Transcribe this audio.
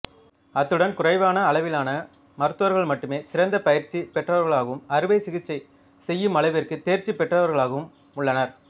அத்துடன் குறைவான அளவிலான மருத்துவர்கள் மட்டுமே சிறந்த பயிற்சி பெற்றவர்களாகவும் அறுவை சிகிச்சை செய்யுமளவிற்கு தேர்ச்சி பெற்றவர்களாகவும் உள்ளனர்